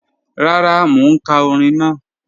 Rara, mo n ka ọ̀rìn naa.